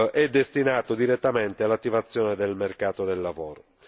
è destinato direttamente all'attivazione del mercato del lavoro.